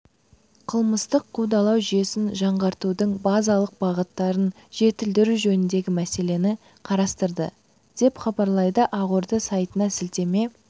қылмыстық қудалау жүйесін жаңғыртудың базалық бағыттарын жетілдіру жөніндегі мәселені қарастырды деп хабарлайды ақорда сайтына сілтеме